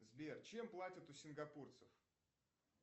сбер чем платят у сингапурцев